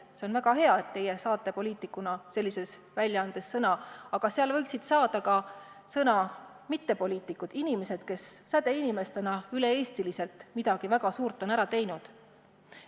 See on väga hea, et teie poliitikuna saate sellises väljaandes sõna, aga seal võiksid sõna saada ka mittepoliitikud, inimesed, kes sädeinimestena üle-eestiliselt midagi väga suurt on ära teinud.